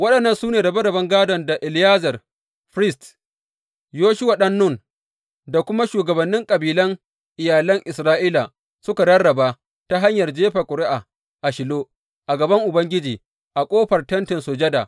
Waɗannan su ne rabe raben gādon da Eleyazar firist, Yoshuwa ɗan Nun, da kuma shugabannin kabilan iyalan Isra’ila suka rarraba ta hanyar jefa ƙuri’a a Shilo a gaban Ubangiji a ƙofar Tentin Sujada.